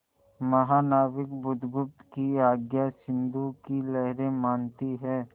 महानाविक बुधगुप्त की आज्ञा सिंधु की लहरें मानती हैं